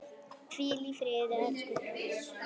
Hvíl í friði elsku bróðir.